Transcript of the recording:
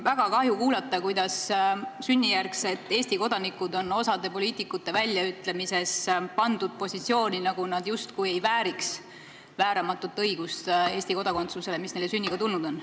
Väga kahju on kuulda, et sünnijärgsed Eesti kodanikud osa poliitikute väljaütlemiste kohaselt justkui ei vääri vääramatut õigust Eesti kodakondsusele, mis neile sünniga tulnud on.